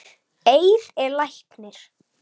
Eir er læknir